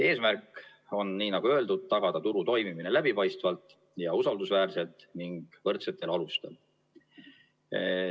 Eesmärk on, nii nagu öeldud, tagada turu toimimine läbipaistvalt ja usaldusväärselt ning võrdsetel alustel.